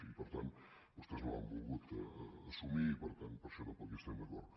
i per tant vostès no l’han volgut assumir i per tant per això tampoc hi estem d’acord